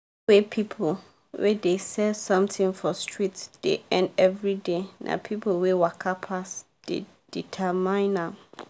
wey people wey dey sell something for street dey earn everyday na people wey waka pass dey determine am